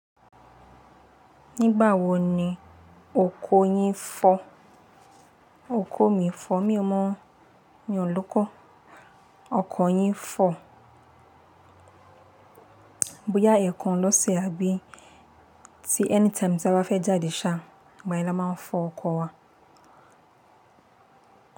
Nígbà wo ni oko yín ń fọ̀? Òkò mi fọ̀, mi ò mọ̀ o míì o lóko. Ọkọ yín fọ̀? Bóyá ẹ̀kan lọ́sẹ̀ àbí ti anytime tí a bá fẹ́ jáde ṣáá, ìgbà yen la máa ń fọ ọkọ wa.